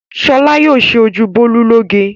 Ṣọlá yóò ṣe ojú Bólú lóge.